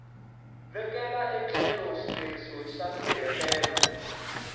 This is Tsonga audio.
vekela etlhelo xileriso xa nsirhelelo